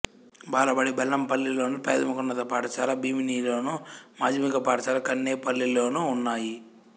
బాలబడి బెల్లంపల్లిలోను ప్రాథమికోన్నత పాఠశాల భీమినిలోను మాధ్యమిక పాఠశాల కన్నేపల్లిలోనూ ఉన్నాయి